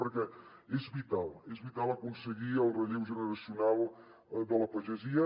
perquè és vital és vital aconseguir el relleu generacional de la pagesia